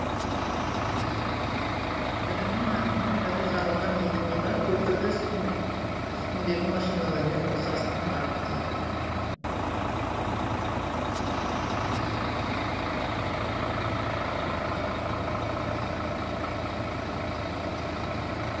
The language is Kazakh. бірінің артынан бірі жарылған екі мина көпірді үстіндегі машиналармен қоса аспанға атты